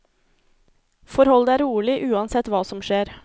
Forhold deg rolig uansett hva som skjer.